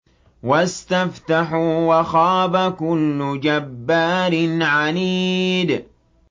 وَاسْتَفْتَحُوا وَخَابَ كُلُّ جَبَّارٍ عَنِيدٍ